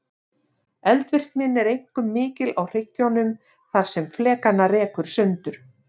Eldvirknin er einkum mikil á hryggjunum þar sem flekana rekur sundur.